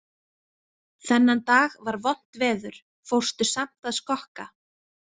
Þennan dag var vont veður, fórstu samt að skokka?